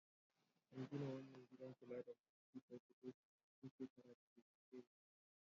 An gina wannan gidan kula da masu cutar kuturta ne tun shekara ta dubu ɗaya da ɗari tara.